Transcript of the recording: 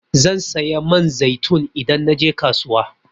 Zan saya man zaitun idan naje kasuwa.